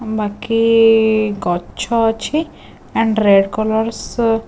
ମାଖି ଗଛ ଅଛି and red colour ର ସୋ --